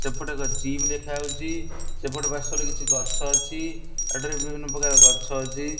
ସେପଟେ ଏକ ଜିମ ଦେଖା ହୋଉଛି ସେପଟେ ପାର୍ଶ୍ଵ ରେ କିଛି ଗଛ ଅଛି ଏଠାରେ ବିଭିନ୍ନ ପ୍ରକାର ଗଛ ଅଛି।